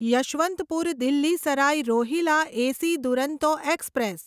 Yesvantpur Delhi Sarai Rohilla AC Duronto express